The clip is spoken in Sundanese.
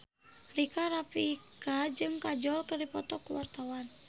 Rika Rafika jeung Kajol keur dipoto ku wartawan